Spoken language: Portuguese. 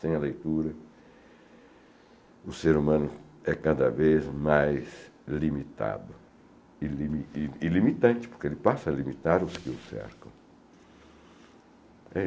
Sem a leitura, o ser humano é cada vez mais limitado e e limitante, porque ele passa a limitar os que o cercam.